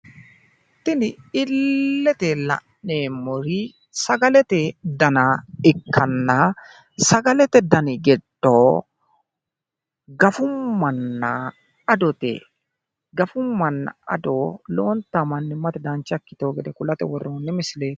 Tini illete la'neemori sagalete dana ikkanna, sagalete dani giddo, Gafummana Adote. Gafummana Ado lowonta mannimate dancha ikkitino gede kulate worronni misileeti